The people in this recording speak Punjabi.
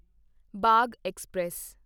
ਬਾਗ ਐਕਸਪ੍ਰੈਸ